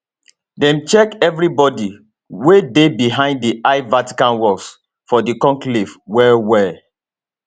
dem check evri body wey dey behind di high vatican walls for di conclave wellwell